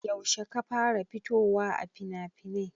Yaushe ka fara fitowa a finafinai?